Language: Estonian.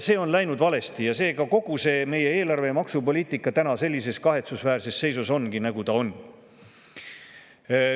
See on läinud valesti ja selle tõttu kogu see meie eelarve ja maksupoliitika sellises kahetsusväärses seisus ongi, nagu ta on.